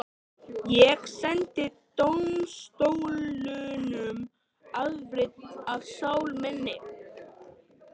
Ég sendi dómstólunum afrit af sál minni.